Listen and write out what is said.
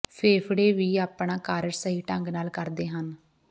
ਫੇਫੜੇ ਵੀ ਆਪਣਾ ਕਾਰਜ ਸਹੀ ਢੰਗ ਨਾਲ ਕਰਦੇ ਹਨ